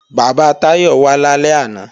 Bàbá Táyọ̀ wá lálẹ́ àná